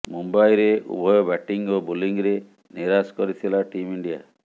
ମୁମ୍ବାଇରେ ଉଭୟ ବ୍ୟାଟିଂ ଓ ବୋଲିଂରେ ନିରାଶ କରିଥିଲା ଟିମ ଇଣ୍ଡିଆ